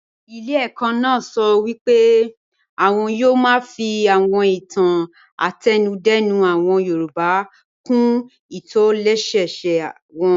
Ilé ẹ̀kọ́ náà sọ pé àwọn yóò máa fi àwọn ìtàn àtẹnudẹ́nu àwọn yorùbá kún ìtòlẹ́sẹẹsẹ wọn